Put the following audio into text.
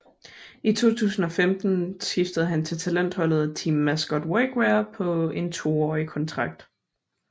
I 2015 skiftede han til talentholdet Team Mascot Workwear på en toårig kontrakt